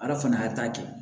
Ala fana y'a ta kɛ